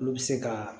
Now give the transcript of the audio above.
Olu bɛ se ka